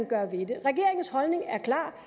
gøre ved det regeringens holdning er klar